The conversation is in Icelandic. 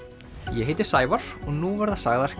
ég heiti Sævar og nú verða sagðar